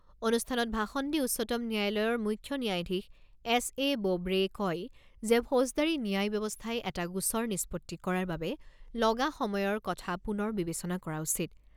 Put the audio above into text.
অনুষ্ঠানত ভাষণ দি উচ্চতম ন্যায়ালয়ৰ মুখ্য ন্যায়াধীশ এছ এ বোবড়েই কয় যে ফৌজদাৰী ন্যায় ব্যৱস্থাই এটা গোচৰ নিষ্পত্তি কৰাৰ বাবে লগা সময়ৰ কথা পুনৰ বিবেচনা কৰা উচিত।